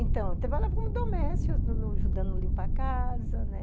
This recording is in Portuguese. Então, eu trabalhava como doméstica, ajudando a limpar a casa, né?